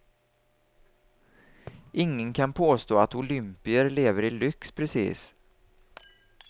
Ingen kan påstå att olympier lever i lyx precis.